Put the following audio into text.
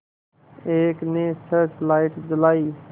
एक ने search light जलाई